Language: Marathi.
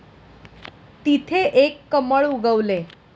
तिथे एक कमळ उगवले.